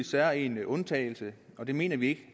særegen undtagelse og det mener vi ikke